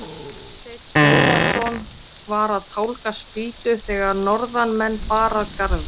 Marteinn Einarsson var að tálga spýtu þegar norðanmenn bar að garði.